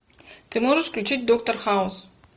ты можешь включить доктор хаус